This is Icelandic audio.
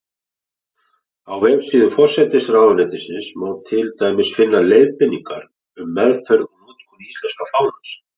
Á vefsíðu forsætisráðuneytisins má til dæmis finna: Leiðbeiningar um meðferð og notkun íslenska fánans.